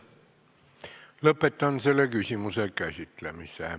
Lõpetan selle küsimuse käsitlemise.